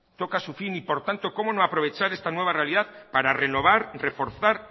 toca su fin y por tanto cómo no aprovechar esta nueva realidad para renovar reforzar